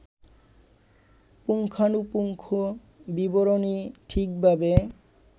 পুঙ্খানুপুঙ্খ বিবরণী ঠিকভাবে